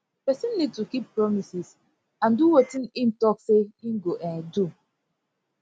person need to keep promises and do wetin im talk sey im go um do